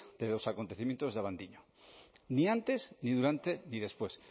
de los acontecimientos de abadiño ni antes ni durante ni después